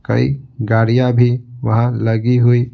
कई गाड़ियाँ भी वहां लगी हुई--